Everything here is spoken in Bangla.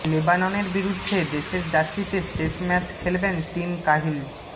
লেবাননের বিরুদ্ধে দেশের জার্সিতে শেষ ম্যাচ খেলবেন টিম কাহিল